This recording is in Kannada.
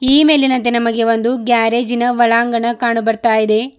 ಈ ಮೇಲಿನಂತೆ ನಮಗೆ ಒಂದು ಗ್ಯಾರೇಜಿನ ಒಳಾಂಗಣ ಕಾಣು ಬರ್ತಾ ಇದೆ.